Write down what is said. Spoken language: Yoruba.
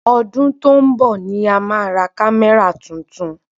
Ọdún tó ń bọ̀ ni a ma ra kamẹra tuntun